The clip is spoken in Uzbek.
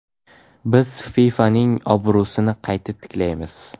Biz FIFAning obro‘sini qayta tiklaymiz.